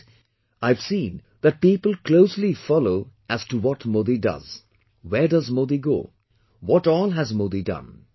And, I have seen that people closely follow as to what Modi does, where does Modi go, what all has Modi done